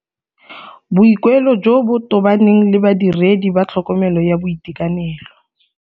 Boikuelo jo bo tobaneng le Badiredi ba tlhokomelo ya boitekanelo.